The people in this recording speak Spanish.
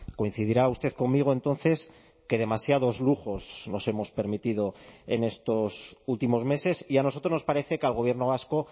coincidirá usted conmigo entonces que demasiados lujos nos hemos permitido en estos últimos meses y a nosotros nos parece que al gobierno vasco